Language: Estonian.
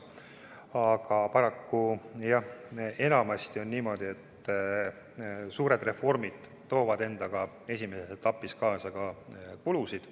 Aga paraku enamasti on jah niimoodi, et suured reformid toovad endaga esimeses etapis kaasa ka kulusid.